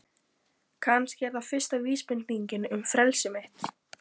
Kannski er það fyrsta vísbendingin um frelsi mitt.